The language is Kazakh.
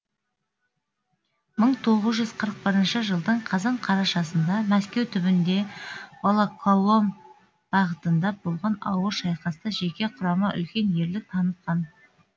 мың тоғыз жүз қырық бірінші жылдың қазан қарашасында мәскеу түбінде волоколом бағытында болған ауыр шайқаста жеке құрама үлкен ерлік танытқан